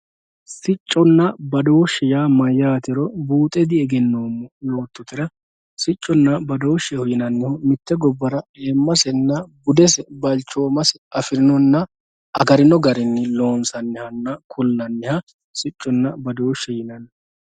sicconna badooshshe buuxe diegenoommo yoottotera, sicconna badooshshe yinannihu mitte gobbara ayiimmmase budesenna balchooomase amadinonna agarino garinni loonsannihanna kullanniha sicconna badooshshe yinanni.